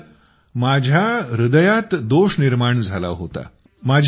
sir माझ्या हृदयात दोष निर्माण झाला होता